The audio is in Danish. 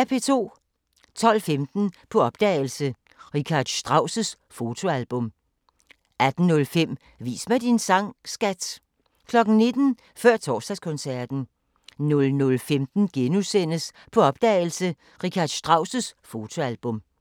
12:15: På opdagelse – Richard Strauss fotoalbum 18:05: Vis mig din sang, skat! 19:00: Før Torsdagskoncerten 00:15: På opdagelse – Richard Strauss fotoalbum *